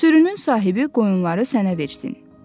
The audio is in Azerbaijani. Sürünün sahibi qoyunları sənə versin.